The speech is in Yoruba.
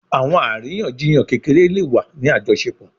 Awọn ariyanjiyan kekere le wa ni ajọṣepọ